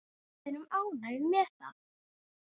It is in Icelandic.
Við erum ánægð með það.